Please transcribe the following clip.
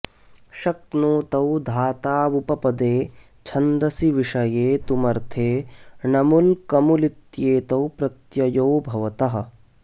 शक्नोतौ धातावुपपदे छन्दसि विषये तुमर्थे णमुल् कमुलित्येतौ प्रत्ययु भवतः